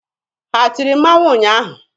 Ha tiri mmanwụ ụnyaahụ?